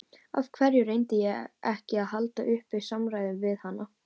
Af hverju reyndi ég ekki að halda uppi samræðum við hana?